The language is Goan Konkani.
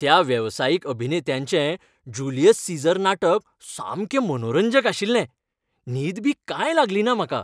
त्या वेवसायीक अभिनेत्यांचें जुलियस सीझर नाटक सामकें मनोरंजक आशिल्लें. न्हीद बी कांय लागलीना म्हाका.